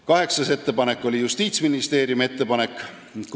Kaheksas on Justiitsministeeriumi ettepanek.